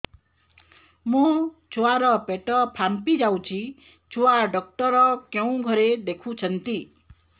ମୋ ଛୁଆ ର ପେଟ ଫାମ୍ପି ଯାଉଛି ଛୁଆ ଡକ୍ଟର କେଉଁ ଘରେ ଦେଖୁ ଛନ୍ତି